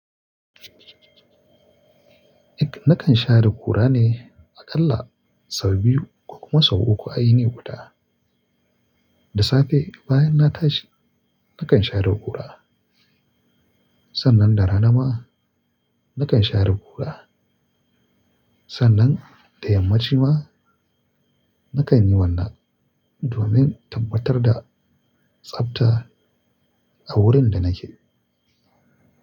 Nakan share kura ne aƙalla sau biyu ko kuma sau uku a yini guda. Da safe bayan na tashi nakan share ƙura. Sannan da rana ma nakan share ƙura. Sannan da yammaci ma nakan yi wannan domin tabbatar da tsabta a wurin da nake.